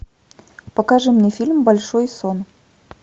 покажи мне фильм большой сон